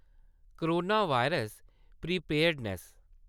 corona virus- preparedness